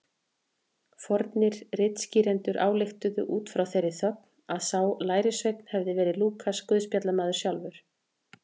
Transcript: Fornir ritskýrendur ályktuðu út frá þeirri þögn að sá lærisveinn hefði verið Lúkas guðspjallamaður sjálfur.